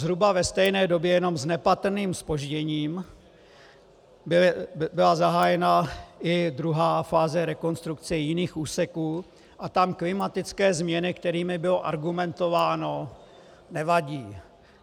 Zhruba ve stejné době, jenom s nepatrným zpožděním, byla zahájena i druhá fáze rekonstrukce jiných úseků, a tam klimatické změny, kterými bylo argumentováno, nevadí.